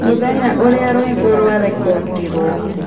mũthenya ũrĩa rwĩmbo rwarekondirwo